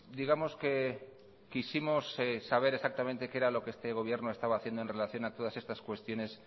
digamos que quisimos saber exactamente qué era lo que este gobierno estaba haciendo en relación a todas estas cuestiones